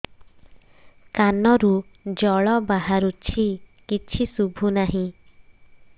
କାନରୁ ଜଳ ବାହାରୁଛି କିଛି ଶୁଭୁ ନାହିଁ